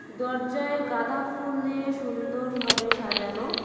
দরজায় গাঁদা ফুল দিয়ে সুন্দরভাবে সাজানো।